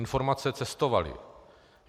Informace cestovaly.